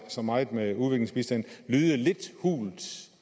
så meget med udviklingsbistand lyde lidt hult